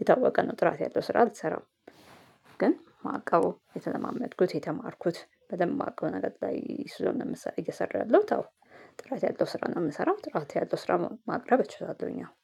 የታወቀ ነው ጥራት ያለው ስራ አልሰራም። ግን ማዕቀቡ የተለማመድኩት የተማርኩት በደንብ ማዕቀቡ ነገር ላይ ስለሆነ እየሰራሁ ያለሁት ጥራት ያለው ስራ ነው የምሰራው። ጥራት ያለው ስራ ማቅረብ እችላለሁኝ አሁን